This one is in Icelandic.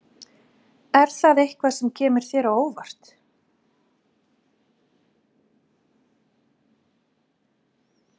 Er það eitthvað sem kemur þér á óvart?